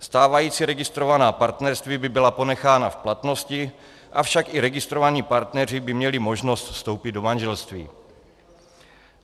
Stávající registrovaná partnerství by byla ponechána v platnosti, avšak i registrovaní partneři by měli možnost vstoupit do manželství.